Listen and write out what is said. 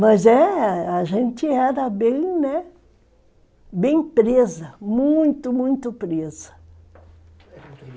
Mas é, a gente era bem, né, bem presa, muito, muito presa.